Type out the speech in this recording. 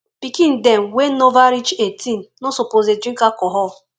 pikin dem wey nova reach 18 no suppose dey drink alcohol